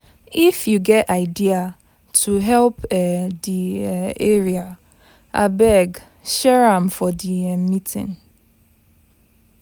If you get idea to help um the um area, abeg share am for the um meeting.